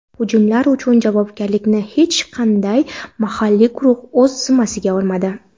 Hujumlar uchun javobgarlikni hech qanday mahalliy guruh o‘z zimmasiga olmadi.